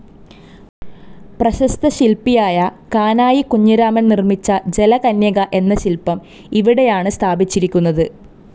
പ്രശസ്ത ശില്പിയായ കാനായി കുഞ്ഞിരാമൻ നിർമ്മിച്ച ജലകന്യക എന്ന ശില്പം ഇവിടെയാണ് സ്ഥാപിച്ചിരിക്കുന്നത്.